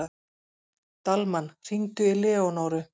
Dalmann, hringdu í Leónóru.